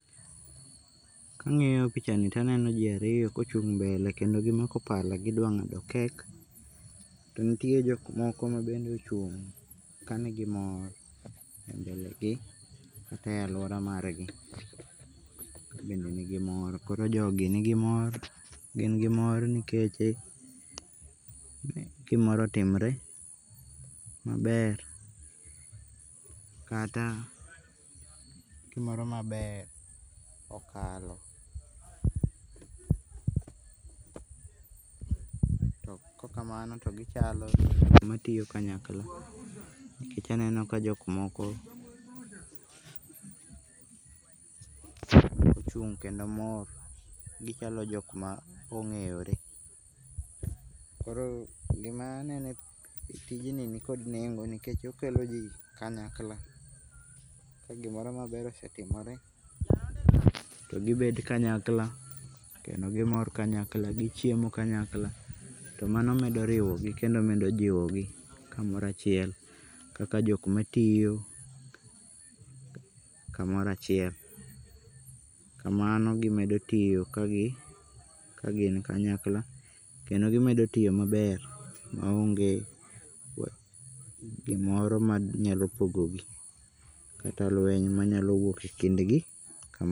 Ka ang'iyo picha ni to aneno ji ariyo kochung' mbele kendo gimako pala gidwang'ado cake cake. To nitie jok moko ma bende ochung' kanigi mor e mbele gi kata e aluaara margi bende nigi mor. Koro jogi nigi mor gin gi mor nikeche gimoro otimore maber kata gimoro maber okalo to kok kamano to gichalo joma tiyo kanyakla nikech aneno ka jokmoko ochung' kendo mor. Gichalo jok ma ong'eyore. Koro gima aneno e tijni ni kod neng'o nikech okelo ji kanyakla. Ka gimoro meber osetimore to gibedo kanyakla kendo kimor kanyakla, gichiemo kanyakla to mano medoriwo gi kendo medo jiwo gi kamoro achiel kaka jok matiyo kamoro achiel. Kamano gimedo tiyo kagi kagin kanyakla kendi kimedo tiyo maber maonge gimoro manyalo pogo gi kata lweny manyalo wuok e kindgi.